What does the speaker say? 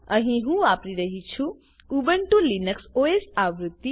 અહી હું વાપરી રહ્યી છું ઉબુન્ટુ લિનક્સ ઓએસ આવૃત્તિ